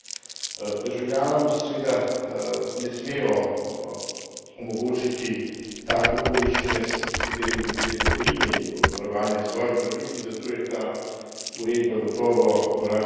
Državljanom se seveda ne smejo omogočiti take okoliščine, s katerimi bi bili odrinjeni od varovanja svojih pravic in zato je ta uredba gotovo korak naprej.